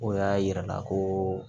O y'a yira la koo